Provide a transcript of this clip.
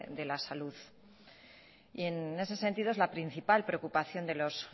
de la salud y en ese sentido es la principal preocupación de los